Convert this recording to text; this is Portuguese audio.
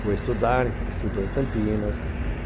Foi estudar, estudou em Campinas.